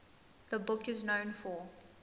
the book is known for